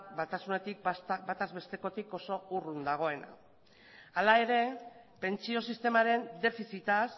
batasunetik bataz bestekotik oso urrun dagoena hala ere pentsio sistemaren defizitaz